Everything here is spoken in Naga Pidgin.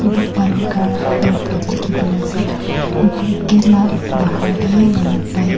balughar airport likhi d na ase bh gate la bahar de manu bike .